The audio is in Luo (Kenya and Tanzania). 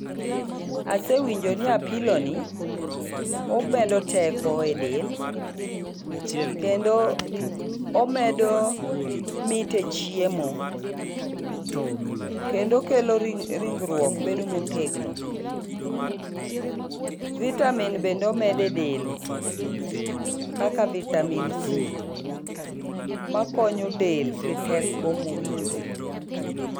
Asewinjo ni apilo ni omedo teko e del, kendo omedo mit e chiemo. Kendo okelo ringruok bedo motegno. Vitamin bende omedo e del, kaka Vitamin C, ma konyo del gi teko mowinjore.